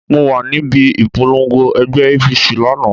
Mo wà níbi ìpolongo ẹgbẹ́ APC lánàá.